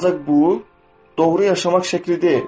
Ancaq bu doğru yaşamaq şəkli deyil.